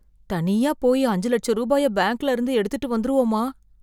தனியா போய் அஞ்சு லட்ச ரூபாய பேங்க்ல இருந்து எடுத்திட்டு வந்துருவோமா?